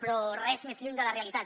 però res més lluny de la realitat